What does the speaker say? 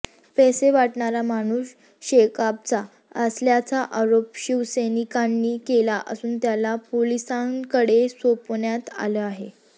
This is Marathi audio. पैसे वाटणारा माणूस शेकापचा असल्याचा आरोप शिवसैनिकांनी केला असून त्याला पोलिसांकडे सोपवण्यात आलं आहे